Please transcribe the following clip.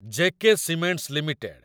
J K cements limited